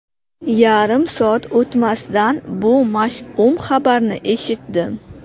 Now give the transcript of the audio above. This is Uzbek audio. Yarim soat o‘tmasdan bu mash’um xabarni eshitdim.